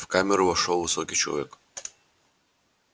в камеру вошёл высокий человек